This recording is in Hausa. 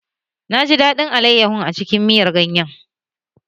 Naji daɗin alaiyahun a cikin miyan ganyan